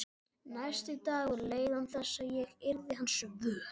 Næsti dagur leið án þess að ég yrði hans vör.